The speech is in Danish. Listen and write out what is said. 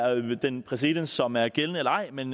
den præcedens som er gældende eller ej men